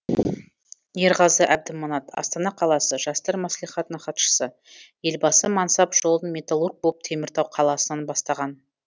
ерғазы әбдіманат астана қаласы жастар мәслихатының хатшысы елбасы мансап жолын металлург болып теміртау қаласынан бастаған